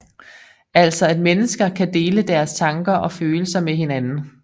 Altså at mennesker kan dele deres tanker og følelser med hinanden